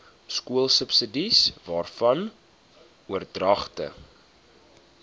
skoolsubsidies waarvan oordragte